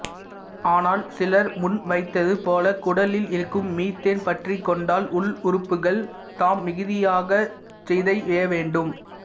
ஆனால் சிலர் முன்வைத்தது போல குடலில் இருக்கும் மீத்தேன் பற்றிக் கொண்டால் உள்ளுறுப்புகள் தாம் மிகுதியாகச் சிதைய வேண்டும்